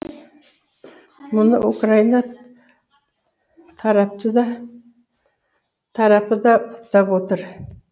мұны украина тарапы да құптап отыр